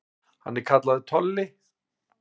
Hann er kallaður Tolli.